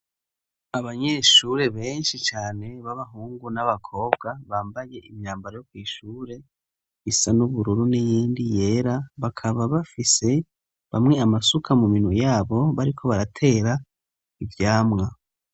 Abanyeshure benshi cane b'abahungu n'abakobwa bambaye imyambaro yo kwishure isa n'ubururu n'iyindi yera bakaba bafise bamwe amasuka mu minwe yabo bariko baratera ivyamwa.